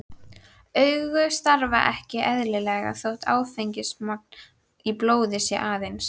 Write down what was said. Augu starfa ekki eðlilega þótt áfengismagn í blóði sé aðeins